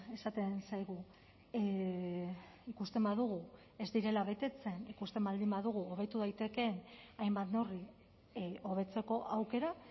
esaten zaigu ikusten badugu ez direla betetzen ikusten baldin badugu hobetu daitekeen hainbat neurri hobetzeko aukera